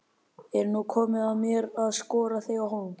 Er nú komið að mér að skora þig á hólm?